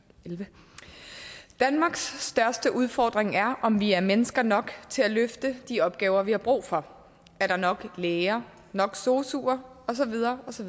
elleve danmarks største udfordring er om vi har mennesker nok til at løfte de opgaver som vi har brug for er der nok læger nok sosuer og så videre osv